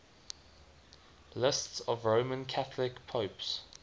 lists of roman catholic popes